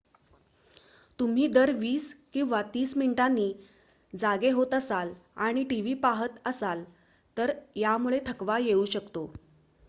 तुम्ही दर वीस किंवा तीस मिनिटांनी जागे होत असाल आणि टीव्ही पाहत असाल तर यामुळे थकवा येऊ शकतो